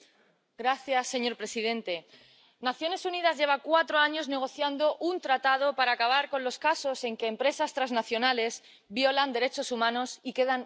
Señor presidente, las Naciones Unidas llevan cuatro años negociando un Tratado para acabar con los casos en que empresas transnacionales violan derechos humanos y quedan impunes.